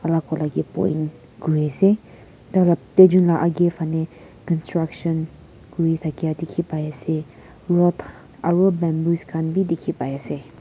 ko lagae point kuri ase taila duijun agae phale construction kuri thakya dekhe pai ase rod aro bamboos bhi dekhe pai ase.